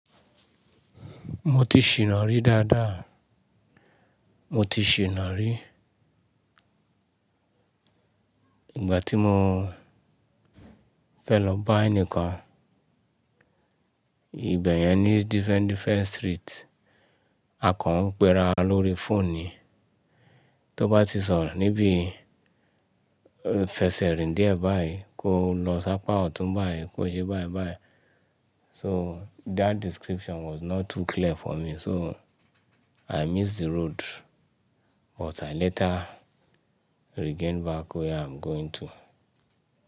Mo ti ṣìna rí dáadáa. Mo ti ṣìna rí. Ìgbà tí mo fẹ́ lọ bá ẹnìkan, ibẹ̀ yẹn ní different, different street. Akàn ń pe ra lórí phone ni. Tó bá ti sọ̀rọ̀ níbí, fẹsẹ̀ rìn dié báyìí, kó o lọ sápá ọ̀tún báyìí, kó ṣe báyìí báyìí. So that description was not too clear for me. So I missed the road, but I later regained back where I'm going to.